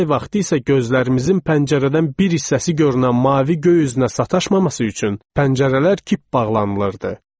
Yay vaxtı isə gözlərimizin pəncərədən bir hissəsi görünən mavi göy üzünə sataşmaması üçün pəncərələr kip bağlanılırdı.